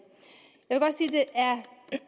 jeg